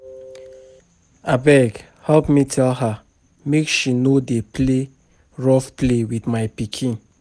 Abeg help me tell her make she no dey play rough play with my pikin